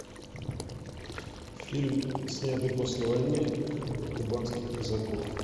фильм снятый после войны про кубанских казаков